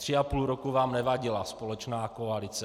Tři a půl roku vám nevadila společná koalice.